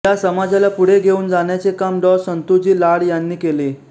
या समाजाला पुढे घेऊन जाण्याचे काम डॉ संतुजी लाड यांनी केले